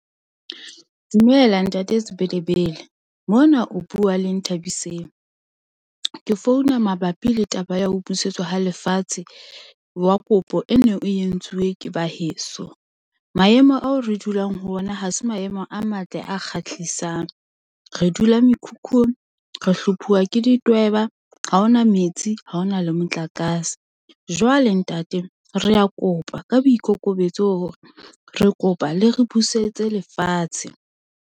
Dumela Ntate Sebelebele, mona o bua le Nthabiseng. Ke founa mabapi le taba ya ho busetswa ha lefatshe wa kopo e neng e entsuwe ke ba heso. Maemo ao re dulang ho ona ha se maemo a matle a kgahlisang. Re dula mekhukhung, re hlophuwa ke ditweba, ha ho na metsi, ha ho na le motlakase. Jwale ntate re kopa ka boikokobetso hore re kopa le re busetse lefatshe.